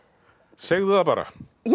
segðu það bara ég